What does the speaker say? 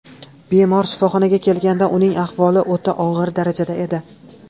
Bemor shifoxonaga kelganda uning ahvoli o‘rta og‘ir darajada edi.